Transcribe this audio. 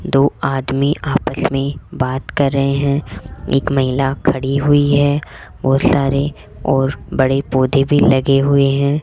दो आदमी आपस में बात कर रहे हैं एक महिला खड़ी हुई है बोहोत सारे और बड़े पौधे भी लगे हुए हैं।